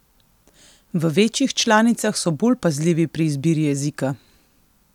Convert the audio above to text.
V večjih članicah so bolj pazljivi pri izbiri jezika.